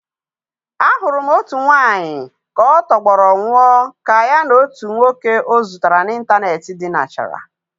A hụrụ otu nwanyị ka ọ tọgbọrọ nwụọ ka ya na otu nwoke ọ zutere n'ịntanetị dinachara.